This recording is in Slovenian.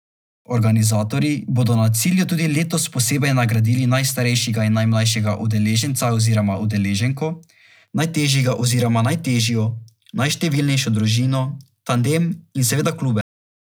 Organizatorji bodo na cilju tudi letos posebej nagradili najstarejšega in najmlajšega udeleženca oziroma udeleženko, najtežjega oziroma najtežjo, najštevilnejšo družino, tandem in seveda klube.